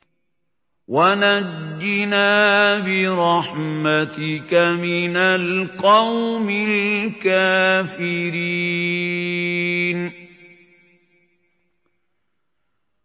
وَنَجِّنَا بِرَحْمَتِكَ مِنَ الْقَوْمِ الْكَافِرِينَ